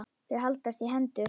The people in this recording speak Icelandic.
Þau haldast í hendur.